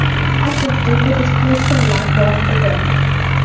Atrofda ibodat qilayotganlar bor edi.